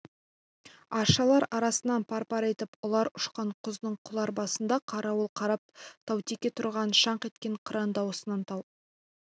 аршалар арасынан пар-пар етіп ұлар ұшқан құздың құлар басында қарауыл қарап таутеке тұрған шаңқ еткен қыран дауысынан тау